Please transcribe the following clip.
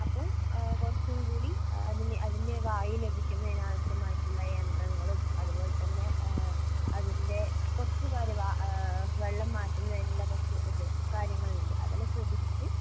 അപ്പൊ ആ കുറച്ചും കൂടി അതിന് അതിൻ്റെ വായു ലഭിക്കുന്നതിന് ആവശ്യമായിട്ടുള്ള യന്ത്രങ്ങളും അതുപോലെതന്നെ ഏഹ് അതിൻ്റെ കുറച്ചു കാര്യം വാ ഏഹ് വെള്ളം മാറ്റുന്നതിനുള്ള കുറച്ച് ഇത് കാര്യങ്ങളുണ്ട് അതെല്ലാം ശ്രദ്ധിച്ചിട്ട്